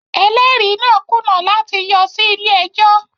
Ẹlẹ́rìí náà kùnà láti yọ sí ilé ẹjọ́